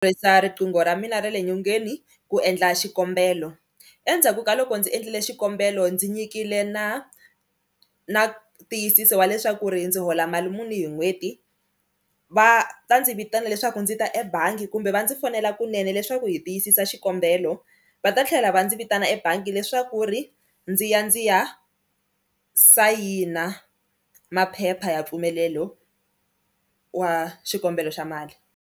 riqingho ra mina ra le nyongeni ku endla xikombelo endzhaku ka loko ndzi endlile xikombelo ndzi nyikile na na ntiyisiso wa leswaku ri ndzi hola mali muni hi n'hweti, va ta ndzi vitana leswaku ndzi ta ebangi kumbe va ndzi fonela kunene leswaku hi tiyisisa xikombelo va ta tlhela va ndzi vitana ebangi leswaku ri ndzi ya ndzi ya sayina maphepha ya mpfumelelo wa xikombelo xa mali.